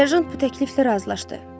Serjant bu təkliflə razılaşdı.